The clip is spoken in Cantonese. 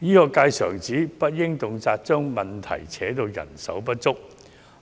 醫學界常指，不應動輒將問題扯到人手不足